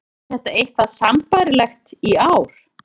Er þetta eitthvað sambærilegt í ár?